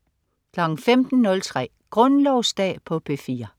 15.03 Grundlovsdag på P4